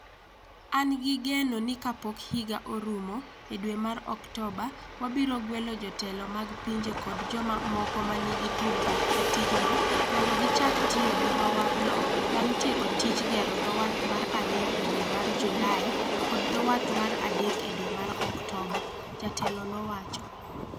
An gi geno ni kapok higa orumo e dwe mar Oktoba, wabiro gwelo jotelo mag pinje kod joma moko ma nigi tudruok e tijno mondo gichak tiyo gi dho wathno bang' tieko tij gero dho wath mar ariyo e dwe mar Julai kod dho wath mar adek e dwe mar Oktoba, Jatelo nowacho.